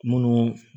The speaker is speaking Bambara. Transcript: Munnu